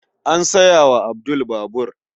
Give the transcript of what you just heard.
An saya wa Abdul babur.